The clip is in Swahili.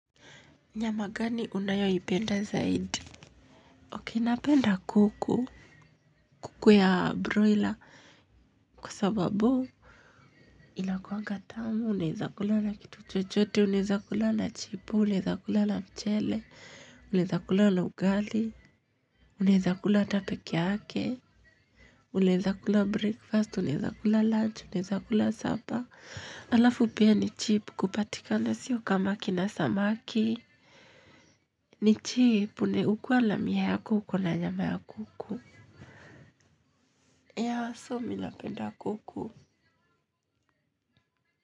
Nyama gani unayoipenda zaidi Okay napenda kuku kuku ya broiler kwa sababu inakuaga tamu unaeza kula na kitu chochote unaeza kula na chipo unaeza kula na mchele unaeza kula na ugali unaeza kula hata peke yake. Unaeza kula breakfast unaeza kula lunch unaeza kula sapa. Halafu pia ni cheap kupatikana sio kama kina samaki. Ni cheap ukiwa na mia yako uko na nyama ya kuku, yeah so mi napenda kuku.